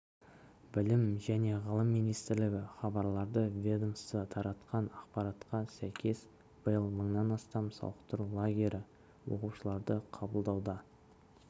білім және ғылым министрлігі хабарлады ведомство таратқан ақпаратқа сәйкес биыл мыңнан астам сауықтыру лагері оқушыларды қабылдауда